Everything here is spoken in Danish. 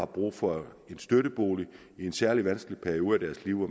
brug for en støttebolig i en særlig vanskelig periode af deres liv hvor